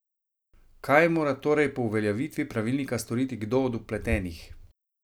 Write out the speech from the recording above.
Kaj mora torej po uveljavitvi pravilnika storiti kdo od vpletenih?